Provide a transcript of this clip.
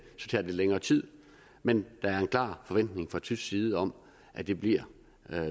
lidt længere tid men der er en klar forventning fra tysk side om at det bliver